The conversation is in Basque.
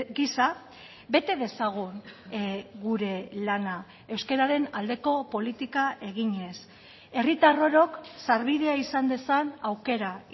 gisa bete dezagun gure lana euskararen aldeko politika eginez herritar orok sarbidea izan dezan aukera